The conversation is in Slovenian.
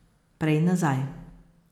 Prej nazaj.